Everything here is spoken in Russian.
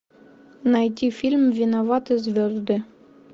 найти фильм виноваты звезды